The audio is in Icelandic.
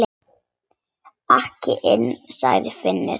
Ekki inni, sagði Finnur.